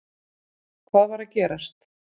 Hvað var að gerast?